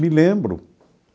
Me lembro.